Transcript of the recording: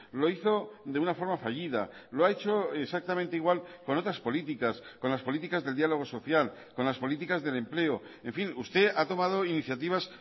lo hizo de una forma fallida lo ha hecho exactamente igual con otras políticas con las políticas del diálogo social con las políticas del empleo en fin usted ha tomado iniciativas